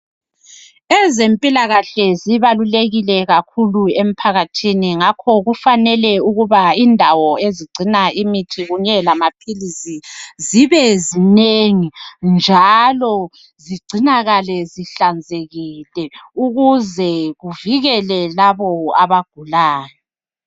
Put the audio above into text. Ezempilakahle zibalulekile kakhulu emphakathini ngakho kufanele ukuba indawo ezigcina imithi kunye lamaphilisi, zibe zinengi njalo zigcinakale zihlanzekile ukuze kuvikele labo abagulayo.